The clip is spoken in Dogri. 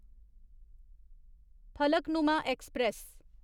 फलकनुमा ऐक्सप्रैस